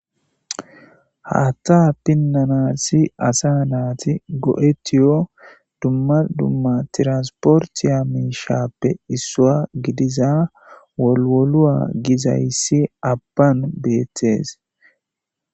haatta pinnanassi asa naati go7etiyo dumma dumma tiransporti ya mishappe issuwa gidiza wolowoluwa gizayssi abban beettees